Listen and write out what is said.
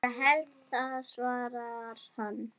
Ég held það svarar hann.